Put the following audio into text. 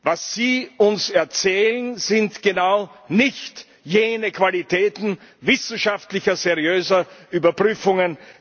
Was Sie uns erzählen, sind genau nicht jene Qualitäten wissenschaftlicher seriöser Überprüfungen.